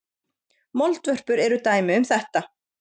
Moldvörpur eru dæmi um þetta.